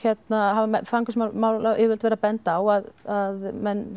hafa fangelsismálayfirvöld verið að benda á að menn